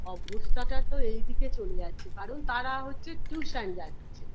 অবস্থাটা তো এই দিকে চলে যাচ্ছে কারণ তারা হচ্ছে tuition যাচ্ছে